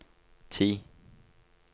ti